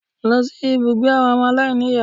Lọ sí ibùgbé àwọn ọmọ aláìníìyá